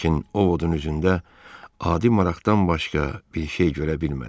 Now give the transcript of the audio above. Lakin Ovodun üzündə adi maraqdan başqa bir şey görə bilmədi.